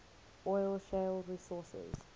oil shale resources